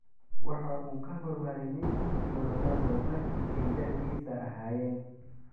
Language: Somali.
Waxa uu ka hor maray Messi iyo Ronaldo markii ay da'diisa ahaayeen.